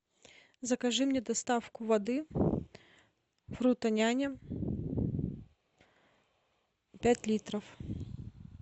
закажи мне доставку воды фрутоняня пять литров